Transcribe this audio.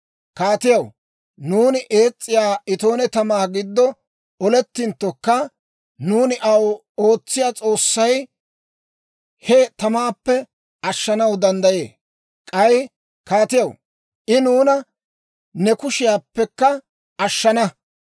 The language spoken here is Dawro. Kaatiyaw, nuuni ees's'iyaa itoone tamaa giddo olettinttokka, nuuni aw ootsiyaa S'oossay he tamaappe ashshanaw danddayee. K'ay kaatiyaw, I nuuna ne kushiyaappekka ashshana.